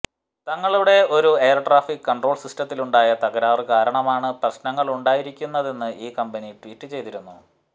തങ്ങളുടെ ഒരു air traffic control സിസ്റ്റത്തിലുണ്ടായ തകരാറ് കാരണമാണ് പ്രശ്നമുണ്ടായിരിക്കുന്നതെന്ന് ഈ കമ്പനി ട്വീറ്റ് ചെയ്തിരുന്നു